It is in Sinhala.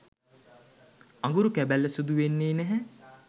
අඟුරු කැබැල්ල සුදු වෙන්නෙ නැහැ.